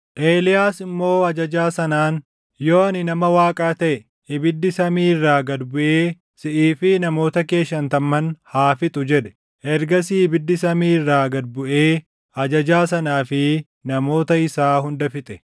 Eeliyaas immoo ajajaa sanaan, “Yoo ani nama Waaqaa taʼe, ibiddi samii irraa gad buʼee siʼii fi namoota kee shantamman haa fixu!” jedhe. Ergasii ibiddi samii irraa gad buʼee ajajaa sanaa fi namoota isaa hunda fixe.